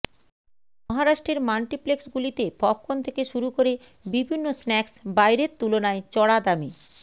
মহারাষ্ট্রের মাল্টিপ্লেক্সগুলিতে পপকর্ন থেকে শুরু করে বিভিন্ন স্ন্যাকসবাইরের তুলনায় চড়া দামে